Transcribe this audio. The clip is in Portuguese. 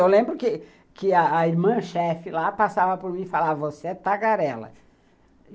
Eu lembro que que a irmã-chefe lá passava por mim e falava, você é tagarela.